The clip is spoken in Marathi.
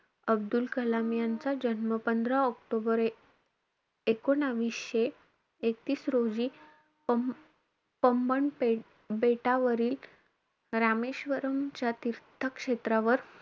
अब्दुल कलाम यांचा जन्म, पंधरा ऑक्टोबर एकूणविशे एकतीस रोजी, प~ पम्मन पेट~ बेटावरील रामेश्वरमच्या तीर्थक्षेत्रावर,